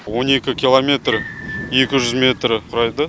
он екі километр екі жүз метрді құрайды